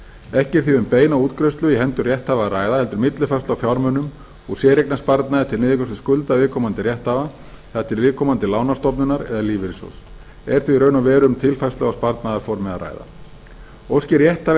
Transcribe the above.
ekki er því um beina útgreiðslu í hendur rétthafa að ræða heldur millifærslu á fjármunum og séreignarsparnað til niðurgreiðslu skulda viðkomandi rétthafa til viðkomandi lánastofnunar eða lífeyrissjóðs er því í raun og veru um tilfærslu á sparnaðarformi að ræða óski rétthafi